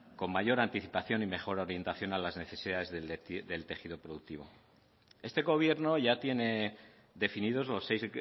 con mayor anticipación y mejor orientación a las necesidades del tejido productivo este gobierno ya tiene definidos los seis